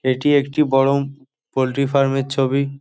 এটি একটি বরং পোলট্রি ফার্ম এর ছবি।